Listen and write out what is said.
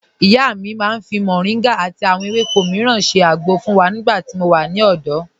Ìyá mi màá n fi Moringa àti àwọn èwéko míràn ṣẹ́ àgbọ̀ fun wa nígbà tí mò wà ní òdò.